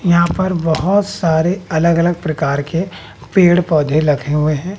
यहां पर बहोत सारे अलग-अलग प्रकार के पेड़-पौधे लखे हुए हैं।